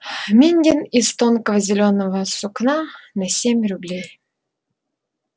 мингин из тонкого зелёного сукна на семь рублей